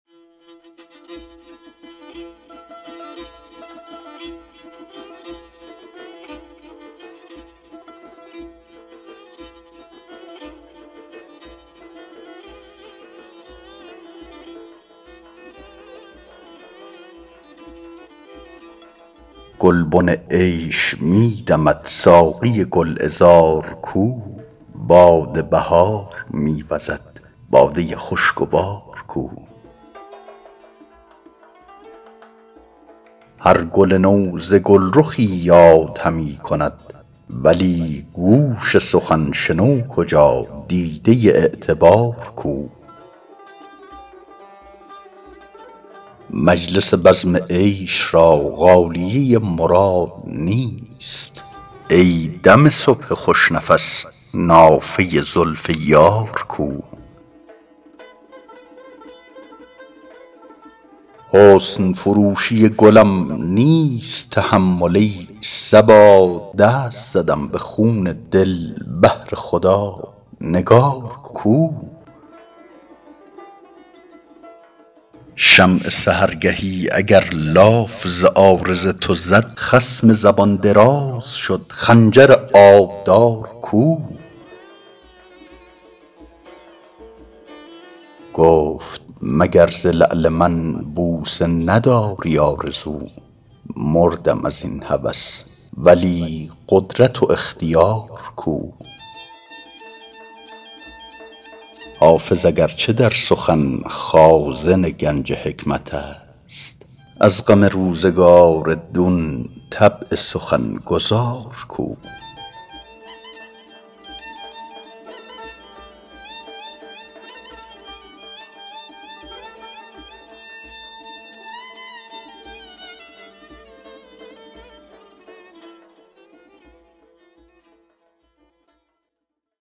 گلبن عیش می دمد ساقی گل عذار کو باد بهار می وزد باده خوش گوار کو هر گل نو ز گل رخی یاد همی کند ولی گوش سخن شنو کجا دیده اعتبار کو مجلس بزم عیش را غالیه مراد نیست ای دم صبح خوش نفس نافه زلف یار کو حسن فروشی گلم نیست تحمل ای صبا دست زدم به خون دل بهر خدا نگار کو شمع سحرگهی اگر لاف ز عارض تو زد خصم زبان دراز شد خنجر آبدار کو گفت مگر ز لعل من بوسه نداری آرزو مردم از این هوس ولی قدرت و اختیار کو حافظ اگر چه در سخن خازن گنج حکمت است از غم روزگار دون طبع سخن گزار کو